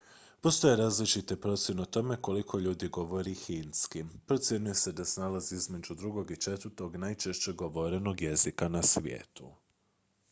postoje različite procjene o tome koliko ljudi govori hindski procjenjuje se da se nalazi između drugog i četvrtog najčešće govorenog jezika na svijetu